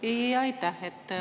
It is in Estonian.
Jaa, aitäh!